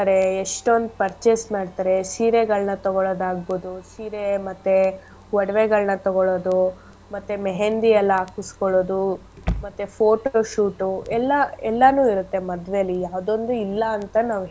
ಎಷ್ಟೊಂದ್ purchase ಮಾಡ್ತಾರೆ ಸೀರೆಗಳ್ನ ತೊಗೊಳೋದ್ ಆಗ್ಬೋದು, ಸೀರೆ ಮತ್ತೆ ಒಡ್ವೆಗಳ್ನ ತೊಗೊಳೋದು ಮತ್ತೆ मेहंदी ಎಲ್ಲಾ ಹಾಕಿಸ್ಕೊಳೊದು ಮತ್ತೆ photo shoot ಉ ಎಲ್ಲಾ ಎಲ್ಲನು ಇರತ್ತೆ ಮದ್ವೆಲಿ ಯಾವ್ದೊಂದು ಇಲ್ಲ ಅಂತ ನಾವ್.